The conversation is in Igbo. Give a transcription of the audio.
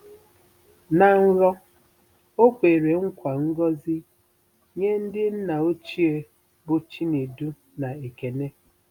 Na nrọ, o kwere nkwa ngọzi nye ndị nna ochie bụ Chinedu na Ekene.